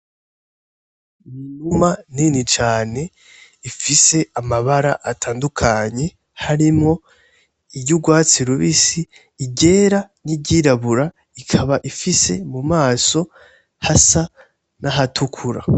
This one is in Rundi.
Inuma Nini cane ifise amabara atandukanye harimwo iry'ugwatsi rubisi, iryera, n'iryirabura ikaba ifise mu maso hasa n'ahatukura.